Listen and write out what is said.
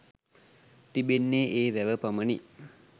තිබෙන්නේ ඒ වැව පමණි.